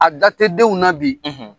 A da tɛ denw na bi.